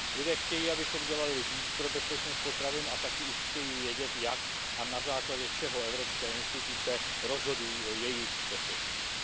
Lidé chtějí, abychom dělali víc pro bezpečnost potravin, a také už chtějí vědět, jak a na základě čeho evropské instituce rozhodují o jejich bezpečnosti.